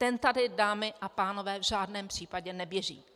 Ten tady, dámy a pánové, v žádném případě neběží!